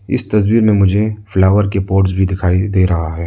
इस तस्वीर में मुझे फ्लावर के पोट्स भी दिखाई दे रहा है।